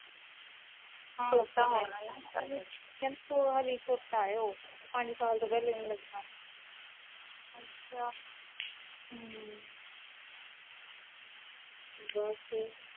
ਅਜੇ ਕਹਿੰਦੇ ਹਲੇ ਛੋਟਾ ਉਹ ਪੰਜ ਸਾਲ ਤੋਂ ਪਹਿਲੇ ਨਹੀਂ ਲੱਗਣਾ ਬਸ